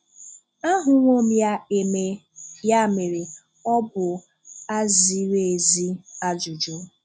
Ahụwò m ya emè, um ya mere, ọ bụ à zìrì èzí ajụjụ.